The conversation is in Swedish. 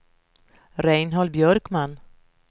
Reinhold Björkman